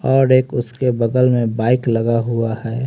और एक उसके बगल में बाइक लगा हुआ है।